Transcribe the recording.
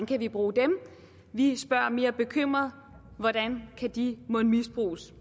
kan vi bruge dem vi spørger mere bekymret hvordan kan de mon misbruges